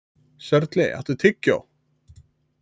Sörli, áttu tyggjó?